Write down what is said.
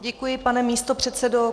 Děkuji, pane místopředsedo.